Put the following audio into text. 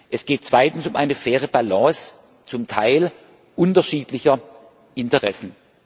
Es geht zweitens um eine faire Balance zum Teil unterschiedlicher Interessen.